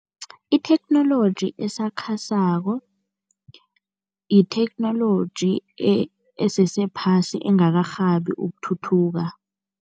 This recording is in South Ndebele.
Itheknoloji esakhasako yitheknoloji esesephasi, engakarhabi ukuthuthuka.